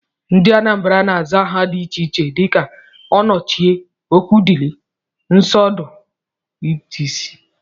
Ndị Anambra na-aza aha dị iche iche dika Onochie, Okwudili, Ọsọndụ wdg.